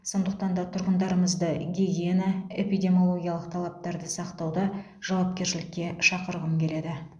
сондықтан да тұрғындарымызды гигиена эпидемиологиялық талаптарды сақтауда жауапкершілікке шақырғым келеді